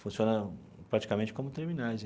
Funciona praticamente como terminais.